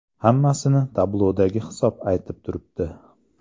Hammasini tablodagi hisob aytib turibdi.